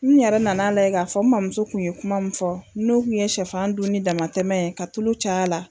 N yɛrɛ nana layɛ k'a fɔ, n mamuso kun ye kuma min fɔ, n'o kun ye shɛfan dun ni damatɛmɛ ye, ka tulu caya la.